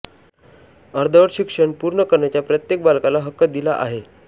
अर्धवट शिक्षण पूर्ण करण्याचा प्रत्येक बालकाला हक्क दिला आहे